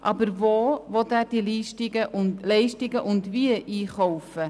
Aber wo und wie will er diese Leistungen einkaufen?